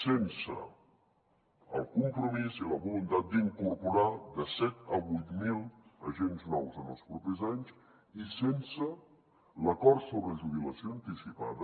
sense el compromís i la voluntat d’incorporar de set a vuit mil agents nous en els propers anys i sense l’acord sobre jubilació anticipada